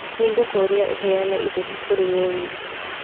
Nĩ ngũkũria ũheane iteti kũrĩ Lewis